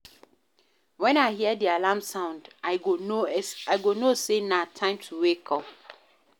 Wen I hear di alarm sound, I go know sey na time to wake.